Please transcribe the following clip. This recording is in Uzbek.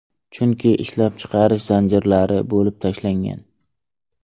Chunki ishlab chiqarish zanjirlari bo‘lib tashlangan.